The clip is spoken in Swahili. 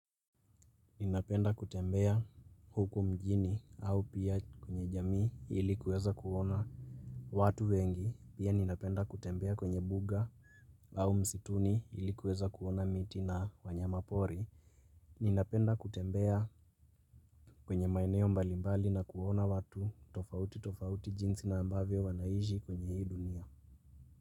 Ninapenda kutembea huku mjini au pia kwenye jamii ilikuweza kuona watu wengi pia ninapenda kutembea kwenye buga au msituni ilikuweza kuona miti na wanyama pori Ninapenda kutembea kwenye maeneo mbalimbali na kuona watu tofauti tofauti jinsi na ambavyo wanaishi kwenye hii dunia.